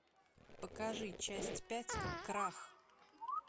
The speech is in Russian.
покажи часть пять крах